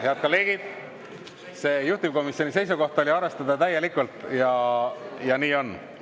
Head kolleegid, juhtivkomisjoni seisukoht oli arvestada täielikult ja nii on.